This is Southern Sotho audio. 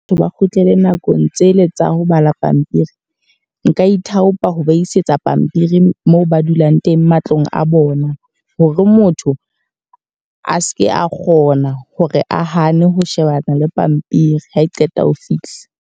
Ho ba kgutlele nakong tsele tsa ho bala pampiri. Nka ithaopa ho ba isetsa pampiri moo ba dulang teng matlong a bona. Hore motho a seke a kgona hore a hane ho shebana le pampiri ha e qeta ho fihla.